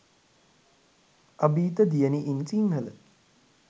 abeetha diyani in sinhala